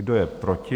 Kdo je proti?